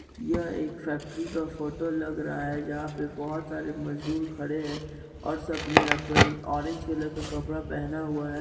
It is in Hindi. यह एक फैक्ट्री का फोटो लग रहा है जहां पे बहुत सारे मजदूर खडे हैं और सब ने ऑरेंज कलर का कपड़ा पहना हुआ है।